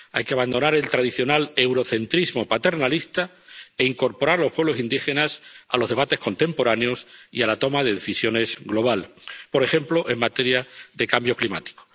Hay que abandonar el tradicional eurocentrismo paternalista e incorporar los pueblos indígenas a los debates contemporáneos y a la toma de decisiones global, por ejemplo, en materia de cambio climático.